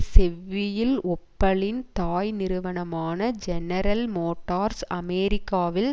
செவ்வியில் ஒப்பலின் தாய் நிறுவனமான ஜெனரல் மோட்டார்ஸ் அமெரிக்காவில்